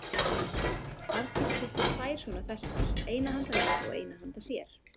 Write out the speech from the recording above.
Arndís keypti tvær svona festar, eina handa mér og eina handa sér.